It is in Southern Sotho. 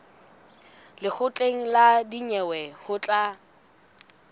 lekgotleng la dinyewe ho tla